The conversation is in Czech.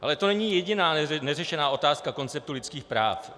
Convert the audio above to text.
Ale to není jediná neřešená otázka konceptu lidských práv.